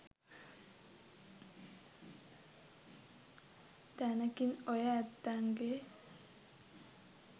තැනකින් ඔය ඇත්තන්ගෙ